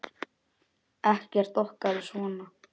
Ekkert okkar er svona.